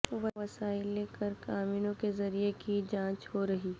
وسائل قرق امینوں کے ذریعے کی جانچ ہو رہی